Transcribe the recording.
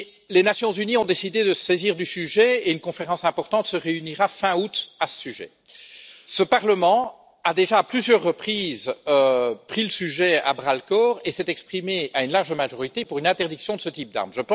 Les Nations unies ont décidé de se saisir du sujet et une conférence importante se réunira fin août à ce propos. Ce Parlement a déjà, à plusieurs reprises, pris le sujet à bras le corps et s'est exprimé à une large majorité pour une interdiction de ce type d'armes.